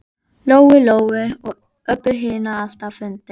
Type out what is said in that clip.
Lóu Lóu og Öbbu hinni alltaf fundist.